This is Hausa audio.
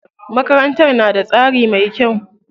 Makarantar na da tsari mai kyau.